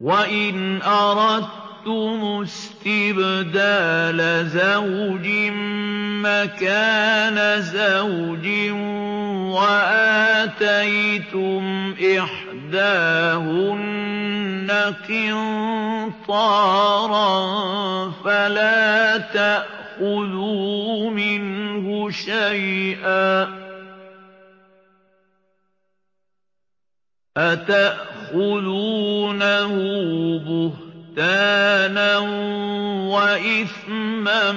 وَإِنْ أَرَدتُّمُ اسْتِبْدَالَ زَوْجٍ مَّكَانَ زَوْجٍ وَآتَيْتُمْ إِحْدَاهُنَّ قِنطَارًا فَلَا تَأْخُذُوا مِنْهُ شَيْئًا ۚ أَتَأْخُذُونَهُ بُهْتَانًا وَإِثْمًا